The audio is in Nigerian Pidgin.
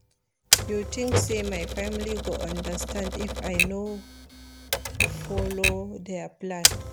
You tink sey my family go understand if I no folo their plan?